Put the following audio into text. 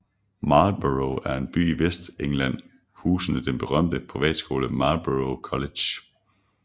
Marlborough er en by i Vestengland husende den berømte privatskole Marlborough College